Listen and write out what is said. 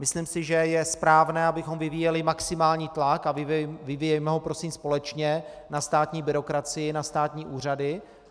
Myslím si, že je správné, abychom vyvíjeli maximální tlak, a vyvíjejme ho prosím společně na státní byrokracii, na státní úřady.